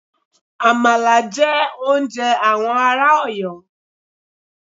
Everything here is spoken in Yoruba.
Àmàlà jẹ́ oúnjẹ àwọn ará Ọ̀yọ́.